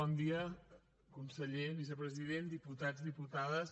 bon dia conseller vicepresident diputats diputades